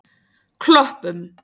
Klöppum